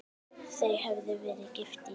Þau höfðu verið gift í